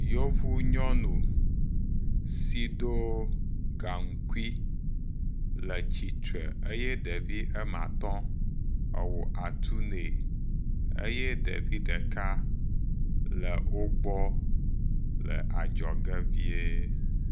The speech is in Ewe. Yovu nyɔnu si do gaŋkui le tsitre eye ɖevi ama tɔ̃ ewɔ atu nɛ eye ɖevi ɖeka le wo gbɔ le adzɔge vie.